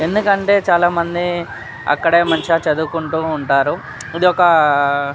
ఎండుకంటె చాల మంది అక్కడ మంచిగా చదువుకుంటూ ఉంటారు. ఇది ఒక --